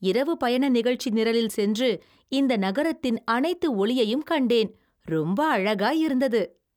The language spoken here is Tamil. இரவு பயண நிகழ்ச்சி நிரலில் சென்று இந்த நகரத்தின் அனைத்து ஒளியையும் கண்டேன்.! ரொம்ப அழகாய் இருந்தது!